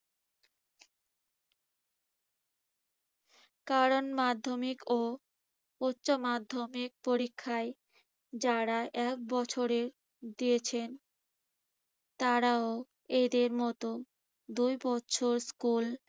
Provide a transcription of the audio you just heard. কারণ মাধ্যমিক ও উচ্যমাধ্যমিক পরীক্ষায় যারা এক বছরে দিয়েছেন তারাও এদের মতো দুই বছর স্কুল